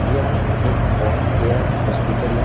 यह एक bone care hospital है।